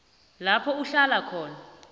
lapho uhlala khona